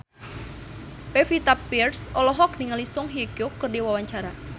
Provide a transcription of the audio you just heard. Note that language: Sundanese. Pevita Pearce olohok ningali Song Hye Kyo keur diwawancara